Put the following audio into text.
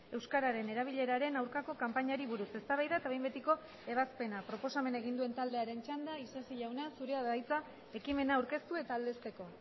euskararen erabileraren aurkako kanpainari buruz eztabaida eta behin betiko ebazpena proposamena egin duen taldearen txanda isasi jauna zurea da hitza ekimena aurkeztu eta aldezteko